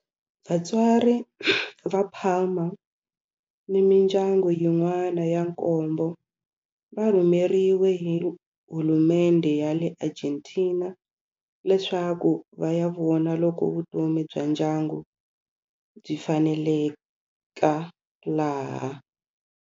Vatswari va Palma ni mindyangu yin'wana ya nkombo va rhumeriwe hi hulumendhe ya le Argentina leswaku va ya vona loko vutomi bya ndyangu byi faneleka laha.